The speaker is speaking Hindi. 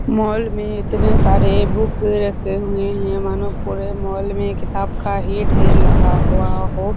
मॉल मे इतने सारे बुक रखे हुए है मानो पूरे मॉल मे किताब का ही ढ़ेर लगा हुआ हो।